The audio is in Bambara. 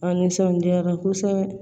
An nisɔndiyara kosɛbɛ